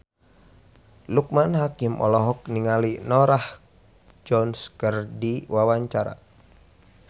Loekman Hakim olohok ningali Norah Jones keur diwawancara